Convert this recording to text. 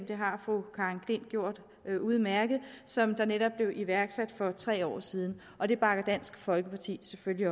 det har fru karen j klint gjort udmærket som netop blev iværksat for tre år siden og det bakker dansk folkeparti selvfølgelig